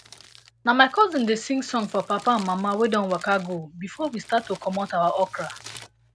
na my cousin dey sing song for papa and mama wey don waka go before we start to comot our okra